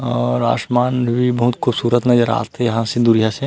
और आसमान भी बहुत खूबसूरत नज़र आत हे यहाँ से दूरिहा से--